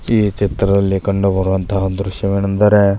ಈ ಚಿತ್ರದಲ್ಲಿ ಕಂಡು ಬರುವಂತಹ ದ್ರಶ್ಯವೇನೆಂದರೆ--